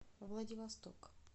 владивосток